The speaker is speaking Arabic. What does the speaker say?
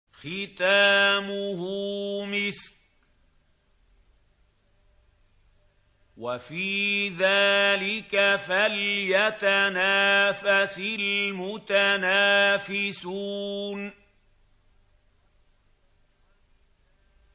خِتَامُهُ مِسْكٌ ۚ وَفِي ذَٰلِكَ فَلْيَتَنَافَسِ الْمُتَنَافِسُونَ